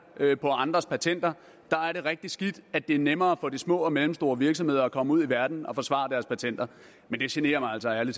på andres patenter er det rigtig skidt at det er nemmere for de små og mellemstore virksomheder at komme ud i verden og forsvare deres patenter men det generer mig altså ærlig